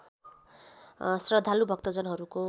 श्रद्धालु भक्तजनहरूको